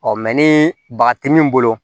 ni baga ti min bolo